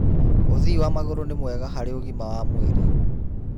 ũthii wa magũrũ nĩ mwega harĩ ũgima wa mwĩrĩ.